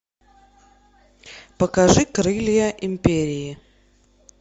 покажи крылья империи